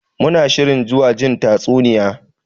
Muna shirin zuwa jin tatsuniya.